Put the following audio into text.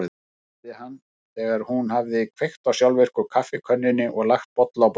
spurði hann þegar hún hafði kveikt á sjálfvirku kaffikönnunni og lagt bolla á borðið.